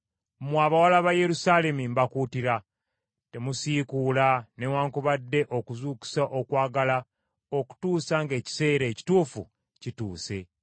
Mmwe abawala ba Yerusaalemi mbakuutira, temusiikuula newaakubadde okuzuukusa okwagala okutuusa ng’ekiseera ekituufu kituuse.